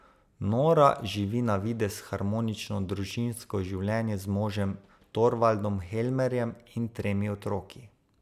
Nora živi na videz harmonično družinsko življenje z možem Torvaldom Helmerjem in tremi otroki.